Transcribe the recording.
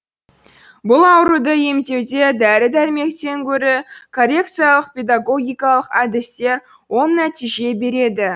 бұл ауруды емдеуде дәрі дәрмектен гөрі коррекциялық педагогикалық әдістер оң нәтиже береді